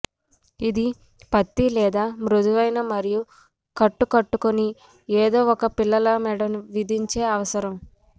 ఇది పత్తి లేదా మృదువైన మరియు కట్టు కట్టుకుని ఏదో ఒక పిల్లల మెడ విధించే అవసరం